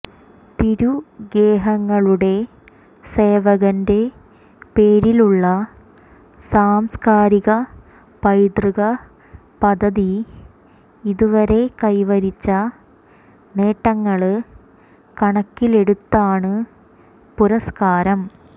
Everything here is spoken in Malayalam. തിരുഗേഹങ്ങളുടെ സേവകന്റെ പേരിലുള്ള സാംസ്കാരിക പൈതൃക പദ്ധതി ഇതുവരെ കൈവരിച്ച നേട്ടങ്ങള് കണക്കിലെടുത്താണ് പുരസ്കാരം